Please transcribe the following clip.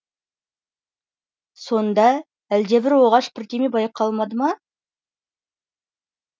сонда әлде бір оғаш бірдеңе байқалмады ма